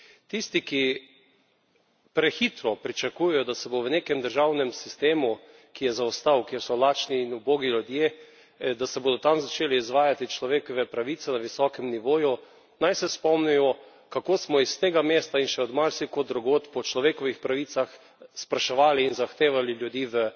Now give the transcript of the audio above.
Tisti, ki prehitro pričakujejo, da se bo v nekem državnem sistemu, ki je zaostal, kjer so lačni in ubogi ljudje, da se bodo tam začele izvajati človekove pravice na visokem nivoju, naj se spomnijo, kako smo iz tega mesta in še od marsikod drugod po človekovih pravicah spraševali in zahtevali za ljudi v